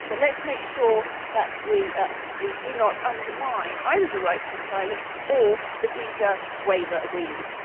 Let us make sure that we do not undermine either the right to asylum or the visa waiver agreements.